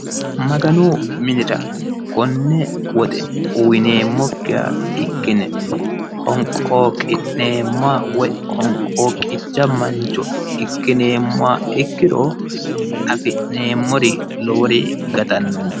maganu minira konne woxe uyiineemmokkiha ikkine honqooqicha mancho ikkineeemmoha ikkiro afi'neemmori lowori gatannonke.